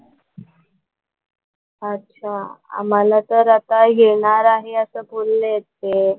अच्छा आम्हाला तर आता येणार आहे असं बोललेत ते.